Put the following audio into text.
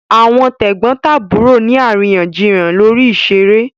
Àwọn tẹ̀gbọ́ntàbúrò ni àríyànjiyàn lórí ìṣeré